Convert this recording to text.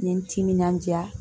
N ye n timinandiya